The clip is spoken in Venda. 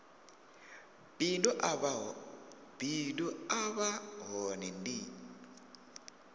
bindu a vha hone ndi